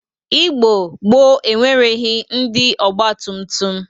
Igbo gboo enwereghi ndị ọgbatụmtụm.